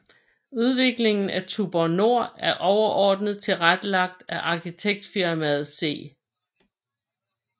Udviklingen af Tuborg Nord er overordnet tilrettelagt af Arkitektfirmaet C